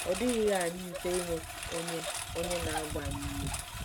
Ọ dịghịrị anyị mfe inwe onye onye na-agba anyị ume.